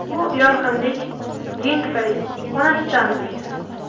Bu yorqinlik gen tufayli onasidan o‘tgan.